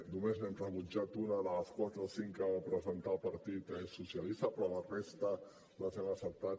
només n’hem rebutjat una de les quatre o cinc que va presentar el partit socialista però la resta les hem acceptat